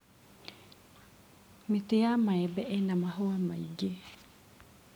Mĩtĩ ya maembe ĩna mahũa maingĩ.